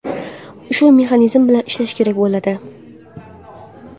Shu mexanizm bilan ishlash kerak bo‘ladi.